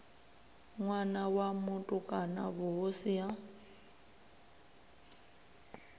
ṋwana wa mutukana vhuhosi ha